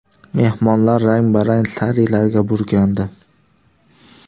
Mehmonlar rang-barang sarilarga burkandi.